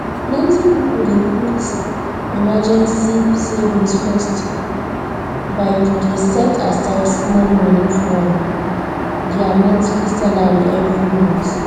plenty people dey put emergency savings first by to dey set aside small money from their monthly salary every month